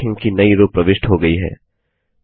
आप देखेंगे कि नई रो प्रविष्ट हो गई है